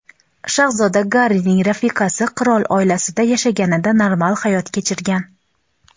shahzoda Garrining rafiqasi qirol oilasida yashaganida normal hayot kechirgan.